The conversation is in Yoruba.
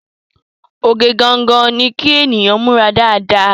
Oge gangan ni kí ènìyàn múra dáadáa